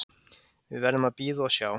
Við verðum að bíða og sjá